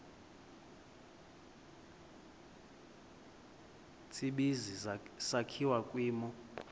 tsibizi sakhiwa kwimo